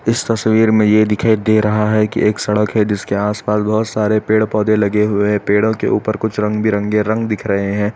इस तस्वीर में यह दिखाई दे रहा है कि एक सड़क है जिसके आस पास बहुत सारे पेड़ पौधे लगे हुए हैं पेड़ों के ऊपर कुछ रंग-बिरंगे रंग दिख रहे हैं।